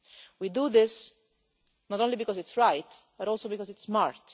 We do this, not only because it is right, but also because it is smart.